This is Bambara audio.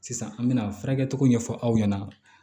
Sisan an bɛna furakɛli cogo ɲɛfɔ aw ɲɛna